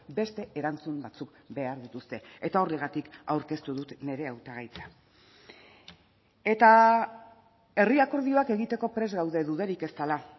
beste erantzun batzuk behar dituzte eta horregatik aurkeztu dut nire hautagaitza eta herri akordioak egiteko prest gaude dudarik ez dela